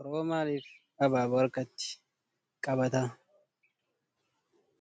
Oromoon maalif abaaboo harkatti qabata?